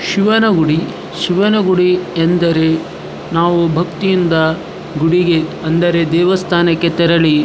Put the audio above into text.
ಶಿವನ ಗುಡಿ ಶಿವನ ಗುಡಿ ಎಂದರೆ ನಾವು ಭಕ್ತಿ ಇಂದ ಗುಡಿಗೆ ಅಂದರೆ ದೇವಸ್ಥಾನಕ್ಕೆ ತೆರಳಿ --